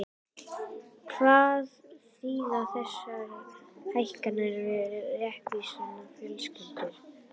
Hvað þýða þessar hækkanir fyrir reykvískar fjölskyldur?